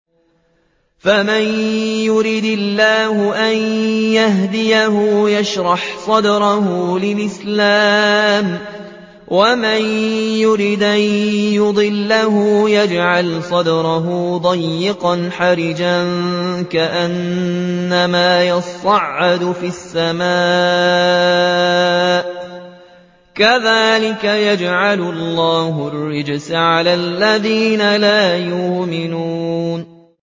فَمَن يُرِدِ اللَّهُ أَن يَهْدِيَهُ يَشْرَحْ صَدْرَهُ لِلْإِسْلَامِ ۖ وَمَن يُرِدْ أَن يُضِلَّهُ يَجْعَلْ صَدْرَهُ ضَيِّقًا حَرَجًا كَأَنَّمَا يَصَّعَّدُ فِي السَّمَاءِ ۚ كَذَٰلِكَ يَجْعَلُ اللَّهُ الرِّجْسَ عَلَى الَّذِينَ لَا يُؤْمِنُونَ